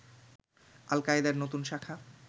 আল-কায়েদার নতুন শাখা